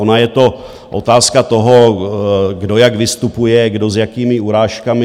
Ona je to otázka toho, kdo jak vystupuje, kdo s jakými urážkami.